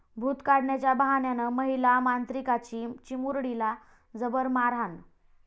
भूत काढण्याच्या बहाण्यानं महिला मांत्रिकाची चिमुरडीला जबर मारहाण